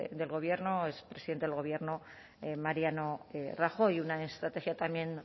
del gobierno expresidente del gobierno mariano rajoy una estrategia también